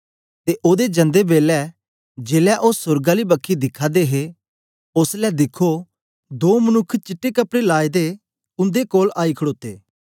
ते ओदे जंदे बेलै जेलै ओ सोर्ग आली बखी दिखा दे हे ओसलै दिखो दो मनुक्ख चिट्टे कपड़े उंदे कोल आई खड़ोते